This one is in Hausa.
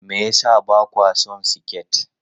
Me yasa ba kwa son siket?